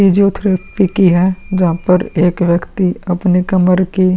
physiotherapy की है जहां पर एक व्यक्ति अपने कमर की --